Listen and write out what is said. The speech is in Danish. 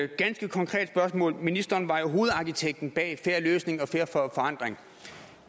ganske konkret spørgsmål ministeren var jo hovedarkitekten bag en fair løsning og fair forandring